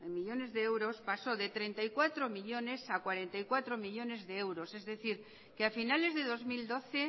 millónes de euros pasó de treinta y cuatro millónes a cuarenta y cuatro millónes de euros es decir que a finales de dos mil doce